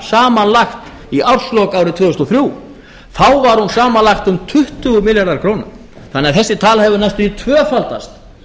samanlagt í árslok árið tvö þúsund og þrjú þá var hún samanlagt um tuttugu milljarðar króna þannig að þessi tala hefur næstum því